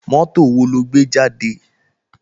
Mọ́tò wo ló gbé jáde?